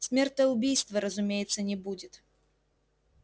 смертоубийства разумеется не будет